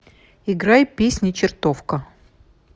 играй песня чертовка